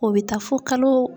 O bɛ taa fo kalo